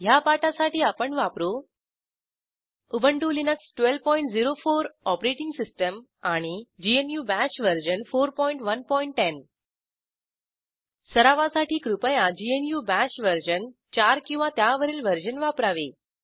ह्या पाठासाठी आपण वापरू उबंटु लिनक्स 1204 ओएस आणि ग्नू बाश वर्जन 4110 सरावासाठी कृपया ग्नू बाश वर्जन 4 किंवा त्यावरील वर्जन वापरावे